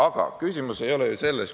Aga küsimus ei ole ju selles.